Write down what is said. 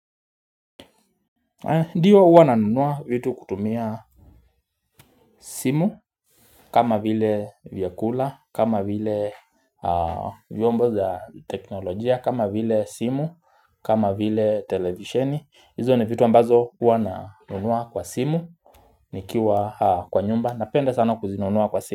Ndiyo huwa nanunua vitu kutumia simu kama vile vyakula, kama vile vyombo za teknolojia, kama vile simu, kama vile televisheni Izo ni vitu ambazo huwa nanunua kwa simu nikiwa kwa nyumba, napenda sana kuzinunua kwa simu.